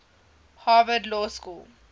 harvard law school